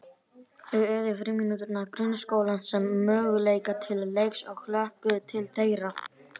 Þau eygðu frímínútur grunnskólans sem möguleika til leiks og hlökkuðu til þeirra.